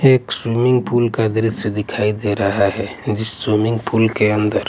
एक swimming pool का द्रश्य दिखाई दे रहा हैं जिस स्विमिंग पूल के अंदर--